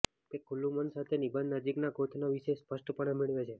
તે ખુલ્લું મન સાથે નિબંધ નજીકના ગોથનો વિષય સ્પષ્ટપણે મેળવે છે